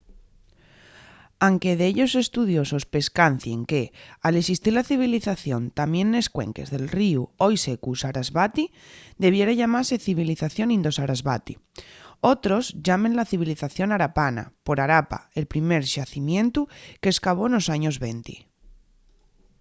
anque dellos estudiosos pescancien que al esistir la civilización tamién nes cuenques del ríu hoi secu sarasvati debiera llamase civilización indo-sarasvati. otros llámenla civilización harapana por harappa el primer xacimientu que s’escavó nos años venti